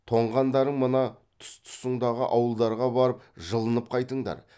тоңғандарың мына тұс тұсыңдағы ауылдарға барып жылынып қайтыңдар